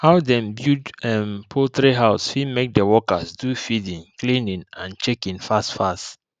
how dem build um poultry house fit make the workers do feeding cleaning and checking fast fast